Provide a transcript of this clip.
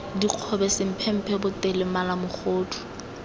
dikgobe semphemphe potele mala mogodu